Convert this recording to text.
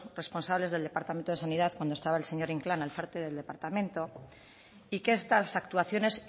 responsables del departamento de sanidad cuando estaba el señor inclán al frente del departamento y que estas actuaciones